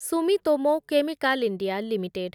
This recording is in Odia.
Sumitomo chemical India limited